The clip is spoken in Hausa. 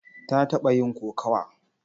Ta taɓa yin kokawa?